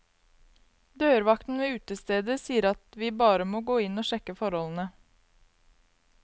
Dørvakten ved utestedet sier at vi bare må gå inn og sjekke forholdene.